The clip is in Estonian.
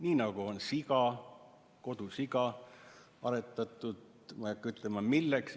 Nii nagu on siga, kodusiga, aretatud, ma ei hakka ütlema, milleks.